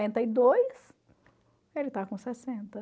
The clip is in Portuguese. e dois. Ele está com sessenta.